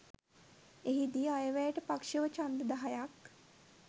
එහි දී අයවැයට පක්ෂව ඡන්ද දහයක්